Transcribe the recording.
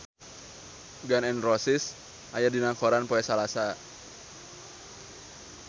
Gun N Roses aya dina koran poe Salasa